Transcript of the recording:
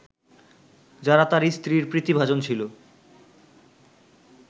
যারা তার স্ত্রীর প্রীতিভাজন ছিল